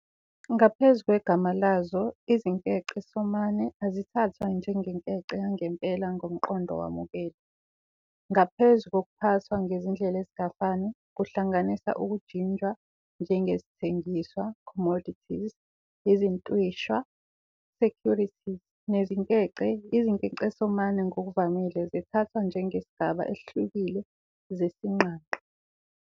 Naphezu kwegama lazo, izinkecesomane azithathwa njengenkece yangempela ngomqondo owamukelwe, ngaphezu kokuphathwa ngezindlela ezingafani, kuhlanganisa ukujinjwa njengezithengiswa, commodities, izintwisha, securities, nezinkece, izinkecesomane ngokuvamile zithathwa njengesigaba esihlukile sezingqangqa.